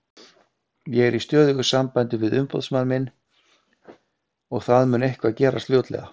Ég er í stöðugu sambandi við umboðsmann minn og það mun eitthvað gerast fljótlega.